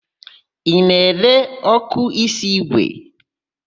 Ị na-ere ọ́kụ́ísí ígwè?